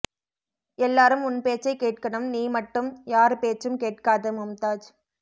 எல்லாரும் உன் பேச்சை கேட்கனும் நீ மட்டும் யாரு பேச்சும் கேட்காத மும்தாஜ்